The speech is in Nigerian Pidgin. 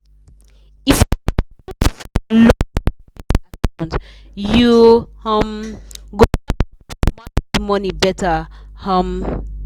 if you dey use locked savings account you um go learn how to manage money better. um